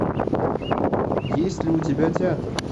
есть ли у тебя театр